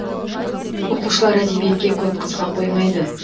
оқушылар әдебиетке көп қызыға қоймайды